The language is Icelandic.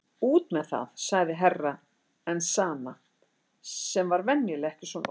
Út með þeð, sagði Herra Enzana sem var venjulega ekki svona óþolinmóður.